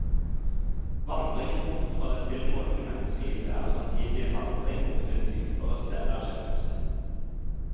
Vandringen bort fra det tilmålte menneskelivet er samtidig en vandring mot en dypere selverkjennelse.